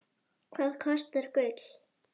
Hvað kostar gull?